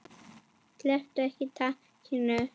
Slepptu ekki takinu.